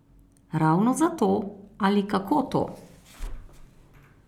Ravno zato ali kako to?